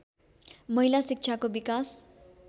महिला शिक्षाको विकास